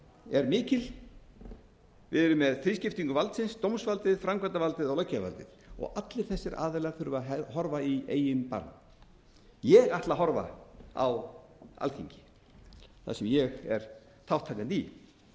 er mikil við erum með þrískiptingu valdsins dómsvaldið framkvæmdarvaldið og löggjafarvaldið og allir þessir aðilar þurfa að horfa í eigin barm ég ætla að horfa á alþingi þar sem ég er þátttakandi í og